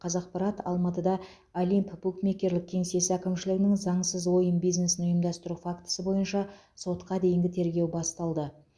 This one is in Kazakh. қазақпарат алматыда олимп букмекерлік кеңсесі әкімшілігінің заңсыз ойын бизнесін ұйымдастыру фактісі бойынша сотқа дейінгі тергеу басталды